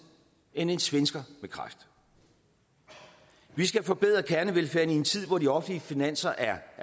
end en svensker med kræft vi skal forbedre kernevelfærden i en tid hvor de offentlige finanser er